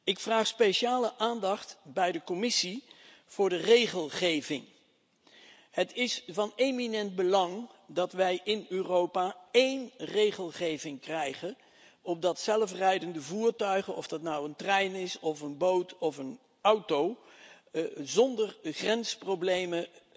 Ik vraag speciale aandacht bij de Commissie voor de regelgeving. Het is van eminent belang dat wij in Europa één regelgeving krijgen opdat zelfrijdende voertuigen, of dat nou een trein is of een boot of een auto, zonder grensproblemen